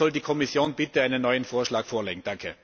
Darum soll die Kommission bitte einen neuen Vorschlag vorlegen!